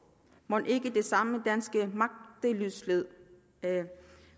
mon ikke det er den samme danske magtesløshed